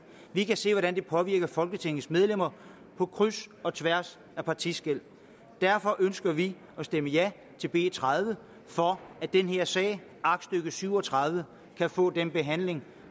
vi kan se hvordan det påvirker folketingets medlemmer på kryds og tværs af partiskel derfor ønsker vi at stemme ja til b tredive for at den her sag aktstykke syv og tredive kan få den behandling